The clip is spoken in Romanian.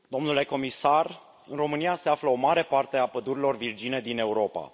Domnule comisar, în România se află o mare parte a pădurilor virgine din Europa.